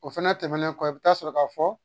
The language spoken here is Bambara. O fɛnɛ tɛmɛnen kɔ i bi taa sɔrɔ ka fɔ